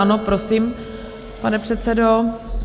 Ano, prosím, pane předsedo.